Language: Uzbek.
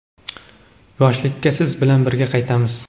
Yoshlikka siz bilan birga qaytamiz!.